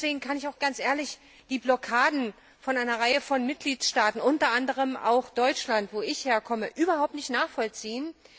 Deswegen kann ich auch die Blockaden einer Reihe von Mitgliedstaaten unter anderem auch Deutschland, wo ich herkomme, überhaupt nicht nachvollziehen.